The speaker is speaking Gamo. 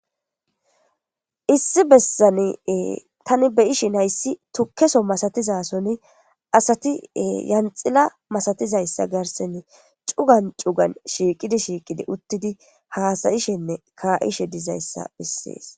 Issi bessani tani beyishin hayssi tukkeso masatizasoni asati yanxila masatizayssa garsen cugan cugan shiiqidi shiiqidi uttidi haasayishenne kaa'ishe dizayssa bessees.